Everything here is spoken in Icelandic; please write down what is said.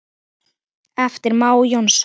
eftir Má Jónsson